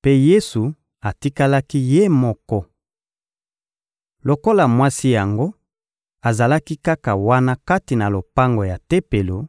Mpe Yesu atikalaki Ye moko. Lokola mwasi yango azalaki kaka wana kati na lopango ya Tempelo,